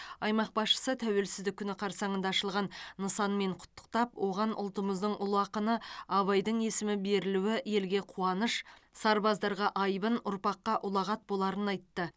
аймақ басшысы тәуелсіздік күні қарсаңында ашылған нысанмен құттықтап оған ұлтымыздың ұлы ақыны абайдың есімі берілуі елге қуаныш сарбаздарға айбын ұрпаққа ұлағат боларын айтты